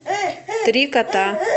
три кота